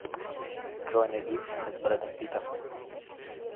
джой найди фильмы с брэдом питом